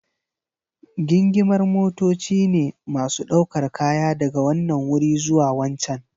Gingimar motoci ne masu ɗaukar kaya daga wanan wuri zuwa wancan.